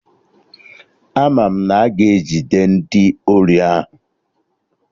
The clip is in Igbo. Ama m na a ga-ejide ndị ori ahụ